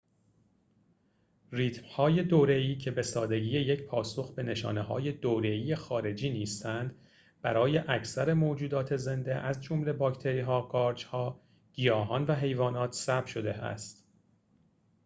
ریتم‌های دوره‌ای که به سادگی یک پاسخ به نشانه‌های دوره‌ای خارجی نیستند برای اکثر موجودات زنده از جمله باکتری‌ها قارچ‌ها گیاهان و حیوانات ثبت شده است